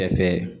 Kɛrɛfɛ